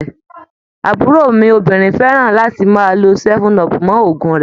Àbúrò mi obìnrin fẹ́ran láti máa lo 7up mọ́ òògùn rẹ̀